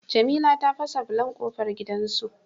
Jamila ta fasa bulon kofar gidan su